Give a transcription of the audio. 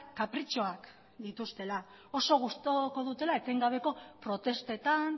kapritxoak dituztela oso gustuko dutela etengabeko protestetan